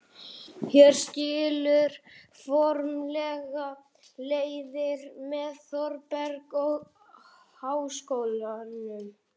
Hér skilur formlega leiðir með Þórbergi og Háskólanum.